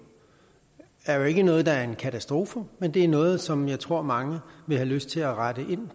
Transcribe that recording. er jo ikke noget der er en katastrofe men det er noget som jeg tror mange vil have lyst til at rette ind